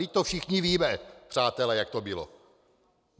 Vždyť to všichni víme, přátelé, jak to bylo!